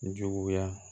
Juguya